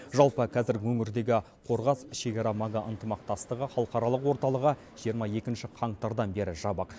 жалпы қазір өңірдегі қорғас шекара маңы ынтымақтастығы халықаралық орталығы жиырма екінші қаңтардан бері жабық